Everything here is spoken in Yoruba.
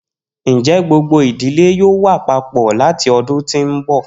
Njẹ gbogbo idile yoo wa papọ lati ọdun ti n bọ?